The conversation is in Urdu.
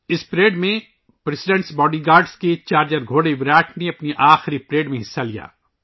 اس پریڈ میں صدر کے باڈی گارڈز کے چارجر گھوڑے وِراٹ نے اپنی آخری پریڈ میں حصہ لیا